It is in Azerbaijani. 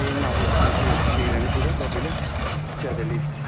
Beyin nahiyəsinə guya deyilənə görə bax belə zədələyibdir.